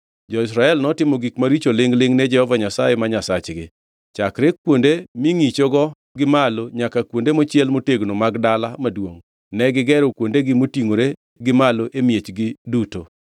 Jo-Israel notimo gik maricho lingʼ-lingʼ ne Jehova Nyasaye ma Nyasachgi. Chakre kuonde mingʼichogo gi malo nyaka kuonde mochiel motegno mag dala maduongʼ, negigero kuondegi motingʼore gi malo e miechgi duto.